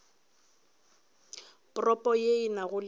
propo ye e nago le